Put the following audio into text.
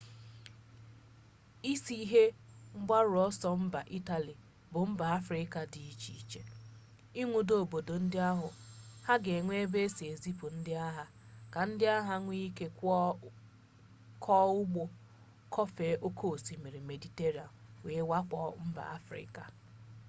isi ihe mgbaru ọsọ mba itali bụ mba afrịka dị iche iche ịnwudo obodo ndị ahụ ha ga enwe ebe esi ezipu ndị agha ka ndị agha nwee ike kwọọ ụgbọ kwọfee oke osimiri mediterenia wee wakpo mba afrịka